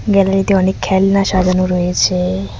গ্যালারিতে অনেক খেলনা সাজানো রয়েছে।